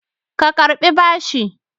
Ka Karɓi bashi!